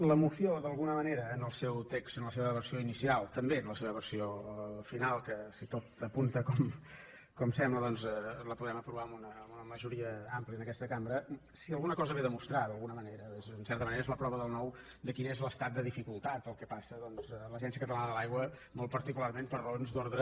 la moció d’alguna manera en el seu text en la seva versió inicial també en la seva versió final que si tot apunta com sembla doncs la podem aprovar amb una majoria àmplia en aquesta cambra si alguna cosa ve a demostrar d’alguna manera és en certa manera és la prova del nou de quin és l’estat de dificultat pel qual passa doncs l’agència catalana de l’aigua molt particularment per raons d’ordre